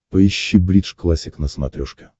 поищи бридж классик на смотрешке